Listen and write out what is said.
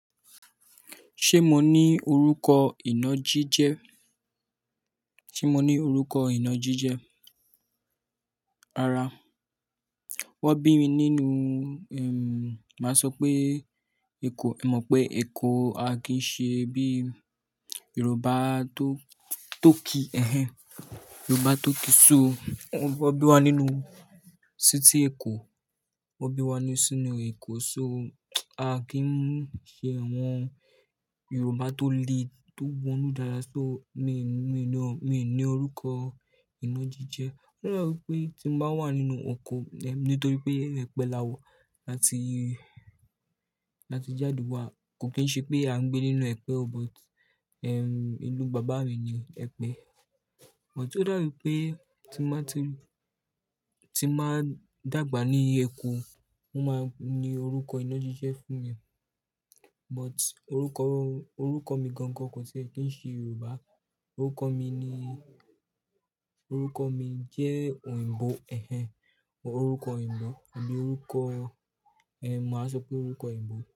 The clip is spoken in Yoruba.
Ṣé mo ní orúkọ ìnájíjẹ? Se mo ní orúkọ ìnájíjẹ. Rárá. Wọ́n bí mi nínú, ehm, màá sọ pé Èkó, ẹ mọ̀ pé Èkó a kì í ṣe bí Yorùbá tó, tó kí, ẹ́hẹ́n. Yorùbá tó kí, so wọ́n bí wa nínú city Èkó, wọ́n bí wa nínú sínú Èkó, so a kì n ṣe àwọn Yorùbá tó le, tó wọnú dáadáa, so mi ò ní, mi ò ní, mi ò ní orúkọ ìnájíjẹ. Ó daa bi wipé tí mo bá wà nínú eko, nítorí pé ẹ̀pẹ̀ la wa láti, láti jáde wá, kò kí ń ṣe pé à ń gbé nínú ẹ̀pẹ̀ o, but, ehm, ìlú bàbá mi ni Ẹ̀pẹ́. But ó da bii pé tí n ba ti, tí n ba dàgbà ní Èkó, won máa ní orúkọ ìnájíjẹ fún mi. But orúkọ, orúkọ mi gangan kò kan tie kí ń ṣe Yorùbá. Orúkọ mi ni, orúkọ mi jẹ́ òyìnbó, ẹ́hẹ́n. Orúkọ òyìnbó àbí orúkọ, ehn, màá sọ pé orúkọ òyìnbó.